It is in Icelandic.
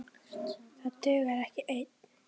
Það dugar ekki ein!